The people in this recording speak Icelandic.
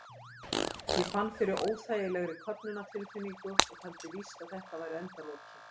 Ég fann fyrir óþægilegri köfnunartilfinningu og taldi víst að þetta væru endalokin.